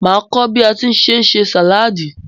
Màá kọ́ bí a tí ń ṣe sàláadì.